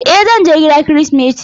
E, zan je gida kirismeti.